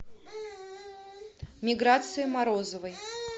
миграции морозовой